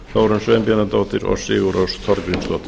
þórunn sveinbjarnardóttir og sigurrós þorgrímsdóttir